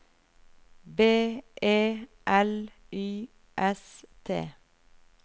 B E L Y S T